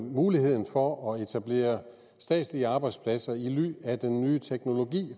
muligheden for at etablere statslige arbejdspladser i ly af den nye teknologi